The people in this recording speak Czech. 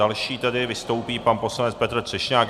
Další tedy vystoupí pan poslanec Petr Třešňák.